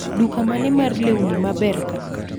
Duka mane mar lewni maber kaa